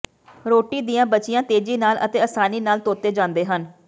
ਰੋਟੀ ਦੀਆਂ ਬਚੀਆਂ ਤੇਜ਼ੀ ਨਾਲ ਅਤੇ ਆਸਾਨੀ ਨਾਲ ਧੋਤੇ ਜਾਂਦੇ ਹਨ